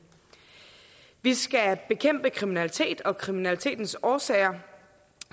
vi skal bekæmpe kriminalitet og kriminalitetens årsager